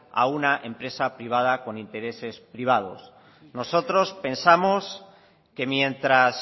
a una empresa privada con intereses privados nosotros pensamos que mientras